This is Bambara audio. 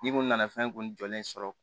N'i ko nana fɛn kun jɔlen sɔrɔ